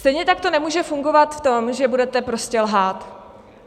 Stejně tak to nemůže fungovat v tom, že budete prostě lhát.